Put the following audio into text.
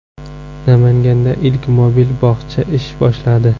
Namanganda ilk mobil bog‘cha ish boshladi .